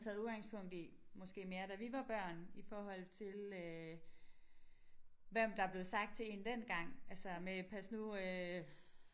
Taget udgangspunkt i måske mere da vi var børn i forhold til øh hvad der blev sagt til én dengang altså med pas nu øh